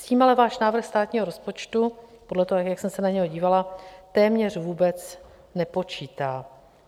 S tím ale váš návrh státního rozpočtu podle toho, jak jsem se na něj dívala, téměř vůbec nepočítá.